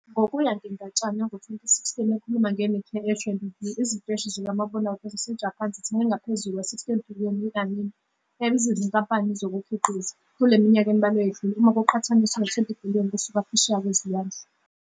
Ngokuya ngendatshana yango-2016 ekhuluma ngeNikkei Asian Review, iziteshi zikamabonakude zaseJapan zithenge ngaphezu 60 billion i-anime ebiza izinkampani zokukhiqiza "kule minyaka embalwa eyedlule", uma kuqhathaniswa 20 billion kusuka phesheya kwezilwandle.